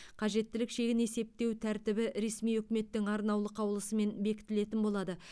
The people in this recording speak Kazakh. қажеттілік шегін есептеу тәртібі ресми үкіметтің арнаулы қаулысымен бекітілетін болады